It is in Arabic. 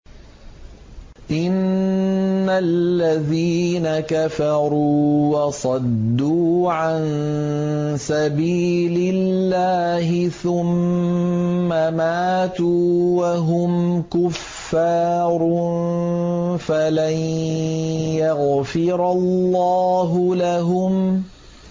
إِنَّ الَّذِينَ كَفَرُوا وَصَدُّوا عَن سَبِيلِ اللَّهِ ثُمَّ مَاتُوا وَهُمْ كُفَّارٌ فَلَن يَغْفِرَ اللَّهُ لَهُمْ